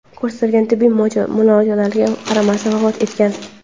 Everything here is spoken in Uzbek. ko‘rsatilgan tibbiy muolajalarga qaramasdan vafot etgan.